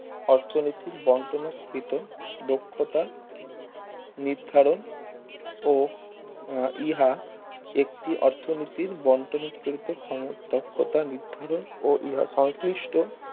অর্থনীতির বন্টনও কৃত দক্ষতা নির্ধারণ ও আহ ইহা একটি অর্থনীতির বন্টন অতিরিক্ত ক্ষমতা দক্ষতা নির্ধারণ ও ইহা সংশ্লিষ্ট